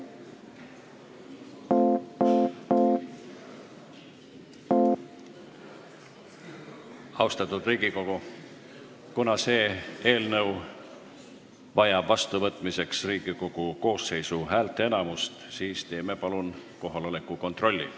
Austatud Riigikogu, kuna see eelnõu vajab vastuvõtmiseks Riigikogu koosseisu häälteenamust, siis teeme palun kohaloleku kontrolli.